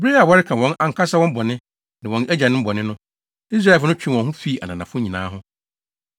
Bere a wɔreka wɔn ankasa bɔne ne wɔn agyanom bɔne no, Israelfo no twee wɔn ho fii ananafo nyinaa ho.